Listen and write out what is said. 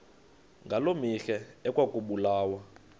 ngaloo mihla ekwakubulawa